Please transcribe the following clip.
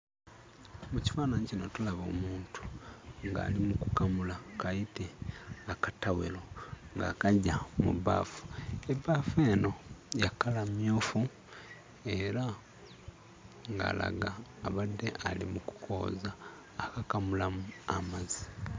Mu kifaananyi kino tulaba omuntu ng'ali mu kukamula kayite akatawero, ng'akaggya mu bbaafu. Ebbaafu eno ya kkala mmyufu era ng'alaga abadde ali mu kukooza akakamulamu amazzi.